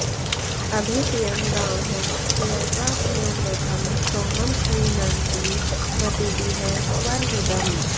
अभि त्यं गावः पयसा पयोवृधं सोमं श्रीणन्ति मतिभिः स्वर्विदम्